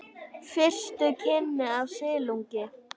Fyrstu kynni af silungi